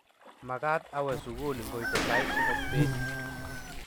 magaat awe sugul ngoite sait somok beet